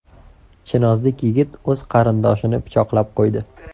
Chinozlik yigit o‘z qarindoshini pichoqlab qo‘ydi.